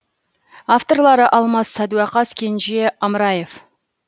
авторлары алмас садуақас кенже амраев